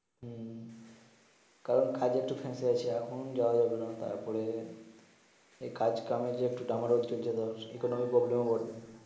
হম কারন কাজের একটু ফেসে আছি এখন যাওয়া যাবে না তারপরে এই কাজ কামে একটু ডামারোল চলছে একোনমি প্রব্লেম ও বটে